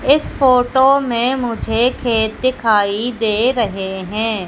इस फोटो में मुझे खेत दिखाई दे रहे हैं।